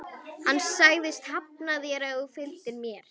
Hann sagðist hafna þér ef þú fylgdir mér.